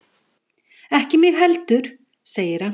Ekki mig heldur, segir hann.